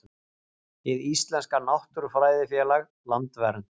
Hið Íslenska náttúrufræðifélag, Landvernd.